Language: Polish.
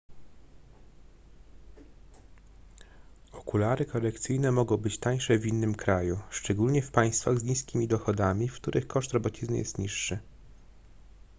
okulary korekcyjne mogą być tańsze w innym kraju szczególnie w państwach z niskimi dochodami w których koszt robocizny jest niższy